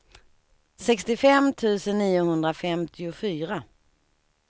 sextiofem tusen niohundrafemtiofyra